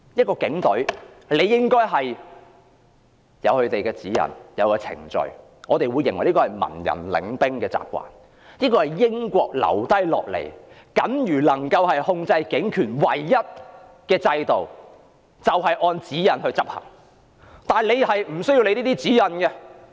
警隊理應有既定的指引和程序，這是文人領兵的習慣，也是英國留下僅餘能夠控制警權的唯一制度，就是要求警員按指引行事。